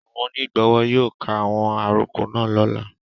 Awọn onigbọwọ yóò ka awọn arokọ naa lọla.